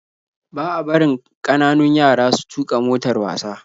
Ba a barin kananun yara su tuka motar wasa